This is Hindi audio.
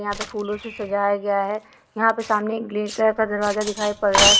यहाँ पे फूल उल से सजाया गया है यहाँ पर सामने एक ग्रील कलर का दरवाजा दिखाई पड़ रहा है।